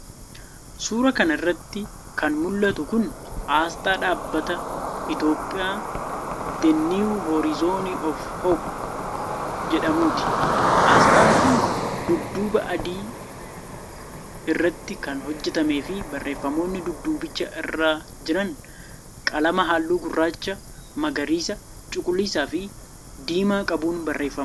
Suura kana irratti kan mula'tu kun, asxaa dhaabbata "Ethiopia the new horizone of hope" jedhamuuti. Asxaan kun, dudduuba adii irrattii kan hojjatame fi barreeffamoonni duddubicha irra jiran qalama haalluu gurraacha, magariisa, cuquliisaa fi diimaa qabuun barreeffaman.